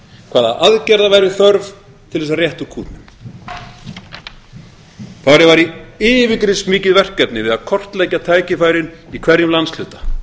hvaða aðgerða væri þörf til þess að rétta úr kútnum farið var í yfirgripsmikið verkefni við að kortleggja tækifærin í hverjum landshluta